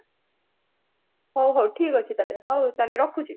ହଉ ହଉ ଠିକ ଅଛି ତାହେଲେ ହଉ ହଉ ରଖୁଚି